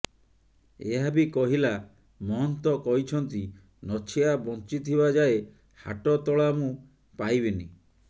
ଏହାବି କହିଲା ମହନ୍ତ କହିଛନ୍ତି ନଛିଆ ବଞ୍ଚିଥିବା ଯାଏ ହାଟତୋଳା ମୁଁ ପାଇବିନି